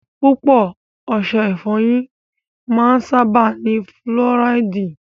Púpọ̀ ọṣẹ ìfọyín máa ń sábáà ní fúlọ́ráìdì.